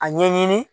A ɲɛɲini